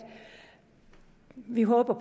vi håber